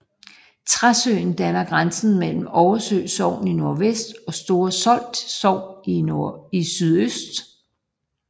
Træsøen danner grænse mellem Oversø Sogn i nordvest og Store Solt Sogn i sydøst